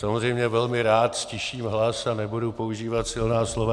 Samozřejmě velmi rád ztiším hlas a nebudu používat silná slova.